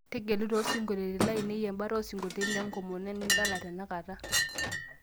tegelu too sinkoliotin lainei ,embata osinkoliotin le nkomono nidala tenakata